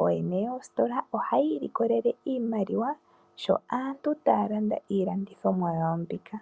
Ooyene yoositola oha ya ilikolele iimaliwa sho aantu taya landa iilandithomwa yawo mbika